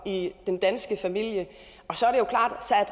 i den danske familie